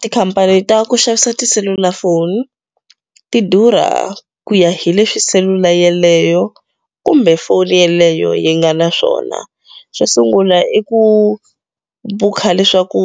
Tikhampani ta ku xavisa tiselulafoni ti durha ku ya hi leswi selula yeleyo kumbe foni yeleyo yi nga na swona xo sungula i ku bukha leswaku